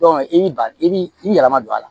i b'i ba i b'i yɛlɛma don a la